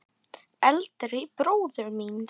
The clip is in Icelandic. Eldri bróður míns?